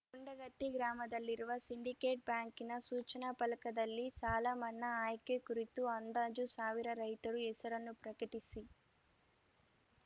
ಗುಂಡಗತ್ತಿ ಗ್ರಾಮದಲ್ಲಿರುವ ಸಿಂಡಿಕೇಟ್‌ ಬ್ಯಾಂಕಿನ ಸೂಚನಾ ಫಲಕದಲ್ಲಿ ಸಾಲಮನ್ನಾ ಆಯ್ಕೆ ಕುರಿತು ಅಂದಾಜು ಸಾವಿರ ರೈತರ ಹೆಸರನ್ನು ಪ್ರಕಟಿಸಿ